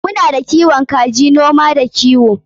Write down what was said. Muna da kiwon kaji a noma da kiwo.